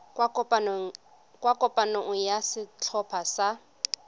kwa kopanong ya setlhopha sa